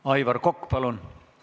Aivar Kokk, palun!